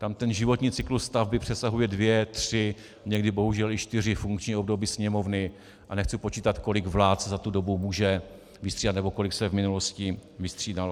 Tam ten životní cyklus stavby přesahuje dvě, tři, někdy bohužel i čtyři funkční období Sněmovny a nechci počítat, kolik vlád se za tu dobu může vystřídat nebo kolik se v minulosti vystřídalo.